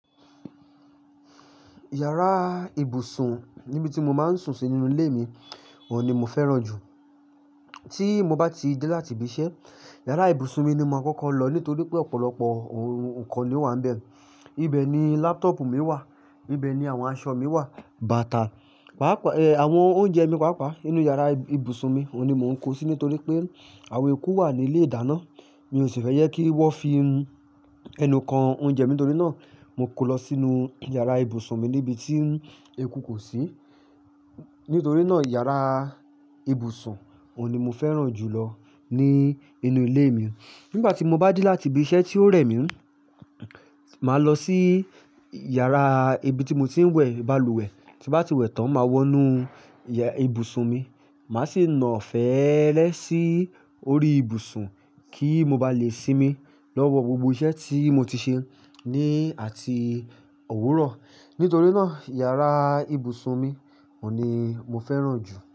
Yàrá ibùsùn níbi tí mo máa ń sùn sínú ilé mi òní mo fẹ́ràn jù. Tí mo bá ti dé láti ibi iṣẹ́, yàrá ibùsùn mi ni mo máa kọ́kọ́ lọ nítorí pé ọ̀pọ̀lọpọ̀ nǹkan ni ó wà níbẹ̀. Ibẹ̀ ni laptop mi wà, ibẹ̀ ni àwọn aṣọ mi wà, bàtà, pàápàá àwọn oúnjẹ mi pàápàá nínú yàrá ibùsùn mi, òní mo ń kó síi nítorí pé àwọn eku wà ní ilé ìdáná, mi ò sì fẹ́ jẹ kí wọ́n fi un ẹnu kan oúnjẹ. Nítorí náà, mo kó lọ sínú yàrá ibùsùn mi níbi tí eku kò sí. Nítorí náà, yàrá ibùsùn òní mo fẹ́ràn jù lọ ní inú ilé mi. Nígbà tí mo bá dé láti ibi iṣẹ́ tí ó rẹ̀ mí, màá lọ sí yàrá ibi tí mo ti ń wẹ̀ balùwẹ̀. Tí mo bá ti wẹ̀ tán, màá wọ inú yàrá ibùsùn mi, màá sì na feẹ́lẹ́ sí orí ibùsùn kí mo ba lè sinmi lọ́wọ́ gbogbo iṣẹ́ tí mo ti ṣe ní àti òwúrọ̀. Nítorí náà, yàrá ibùsùn mi òní mo fẹ́ràn jù.